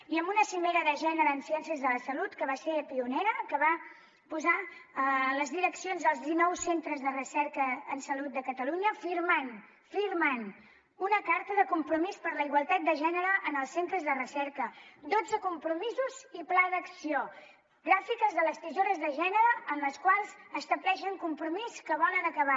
i amb una cimera de gènere en ciències de la salut que va ser pionera que va posar les direccions dels dinou centres de recerca en salut de catalunya a firmar una carta de compromís per la igualtat de gènere en els centres de recerca dotze compromisos i pla d’acció gràfiques de les tisores de gènere en les quals estableixen un compromís que volen acabar